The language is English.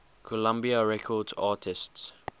columbia records artists